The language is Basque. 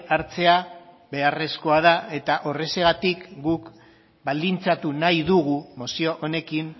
hartzea beharrezkoa da eta horrexegatik guk baldintzatu nahi dugu mozio honekin